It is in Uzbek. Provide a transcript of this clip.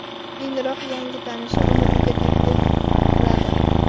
Keyinroq yangi tanishi uni uyiga taklif qiladi.